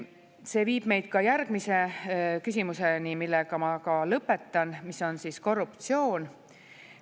See viib meid järgmise küsimuseni, millega ma ka lõpetan, mis on korruptsioon.